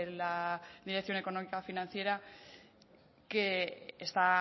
la dirección económica financiera que está